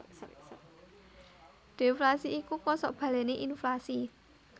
Deflasi iku kosok balené inflasi